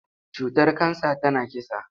Cutar kansa tana kisa.